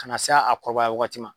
Ka na se a kɔrɔbaya wagati ma.